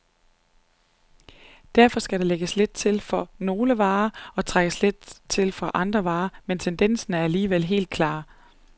Derfor skal der lægges lidt til for nogle varer og trækkes fra for andre, men tendensen er alligevel helt klar.